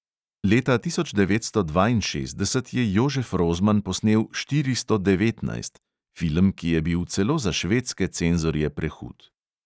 Leta tisoč devetsto dvainšestdeset je jožef rozman posnel štiristo devetnajst, film, ki je bil celo za švedske cenzorje prehud.